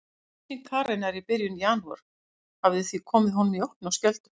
Yfirlýsing Karenar í byrjun janúar hafði því komið honum í opna skjöldu.